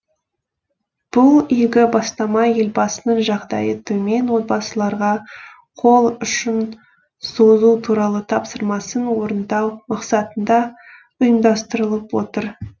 бұл игі бастама елбасының жағдайы төмен отбасыларға қол ұшын созу туралы тапсырмасын орындау мақсатында ұйымдастырылып отыр